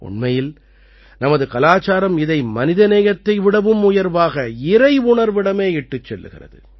உண்மையில் நமது கலாச்சாரம் இதை மனித நேயத்தை விடவும் உயர்வாக இறையுணர்விடமே இட்டுச் செல்கிறது